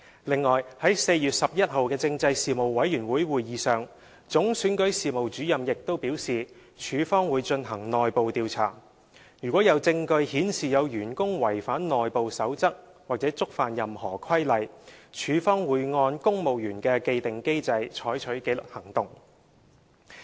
此外，在4月11日的事務委員會會議上，總選舉事務主任亦表示處方會進行內部調查，如有證據顯示有員工違反內部守則或觸犯任何規例，處方會按公務員的既定機制採取紀律行動。